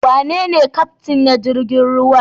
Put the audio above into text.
Wanene Kyaftin na jirigin ruwan?